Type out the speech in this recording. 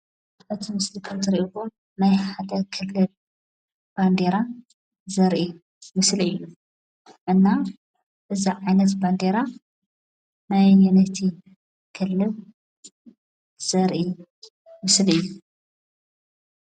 እቲ ምስሊ ከም እትሪእዎ ናይ ሓደ ክልል ባንዴራ ዘርኢ ምስሊ እዩ። እና እዚ ዓይነት ባንዴራ ናይ ኣየነይቲ ክልል ዘርኢ ምስሊ እዩ?